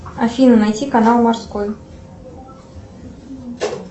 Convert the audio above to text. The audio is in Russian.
афина найти канал морской